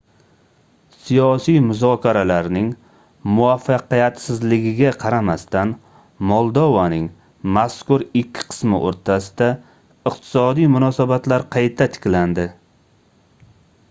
siyosiy muzokaralarning muvaffaqiyatsizligiga qaramasdan moldovaning mazkur ikki qismi oʻrtasida iqtisodiy munosabatlar qayta tiklandi